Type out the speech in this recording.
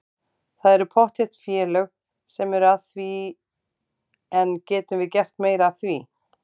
Það eru pottþétt félög sem eru að því en getum við gert meira af því?